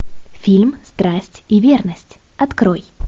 фильм страсть и верность открой